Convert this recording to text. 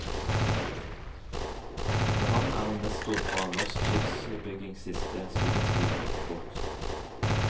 Med ham er en nestor fra norsk skipsbyggings siste storhetstid gått bort.